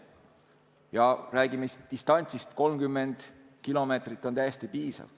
Kui me räägime distantsist, siis 30 kilomeetrit on täiesti piisav.